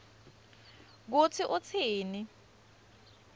kutsi utsini